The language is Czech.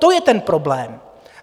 To je ten problém.